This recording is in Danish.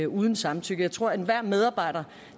uden samtykke jeg tror at enhver medarbejder